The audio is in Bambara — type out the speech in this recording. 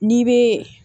N'i bɛ